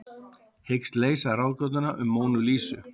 Hyggst leysa ráðgátuna um Mónu Lísu